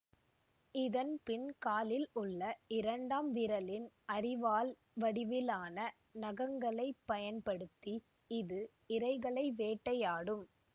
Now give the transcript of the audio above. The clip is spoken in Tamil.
இதன் பின் காலில் உள்ள இரண்டாம் விரலின் அரிவாள் வடிவிலான நகங்களைப் பயன்படுத்தி இது இரைகளை வேட்டையாடும்